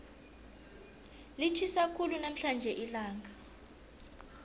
litjhisa khulu namhlanje ilanga